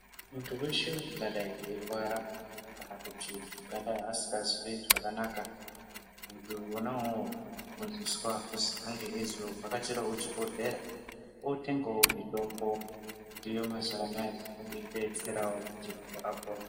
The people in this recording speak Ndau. Muntu weshe ungadai eirwara kana kuti ungadai asingazwi zvakanaka, muntu unowu unoziviswa kuti ange eizoovhachakirawo chibhohlera otengawo mitombo iriyo mazuwa anaya yeidetserawo kuti muntu apone.